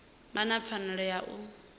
vha na pfanelo ya u